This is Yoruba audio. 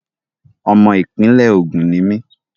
Ọmọ ìpínlẹ̀ Ògùn ni mí.